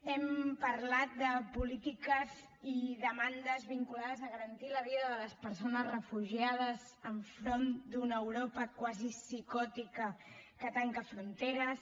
hem parlat de polítiques i demandes vinculades a garantir la vida de les persones refugiades enfront d’una europa quasi psicòtica que tanca fronteres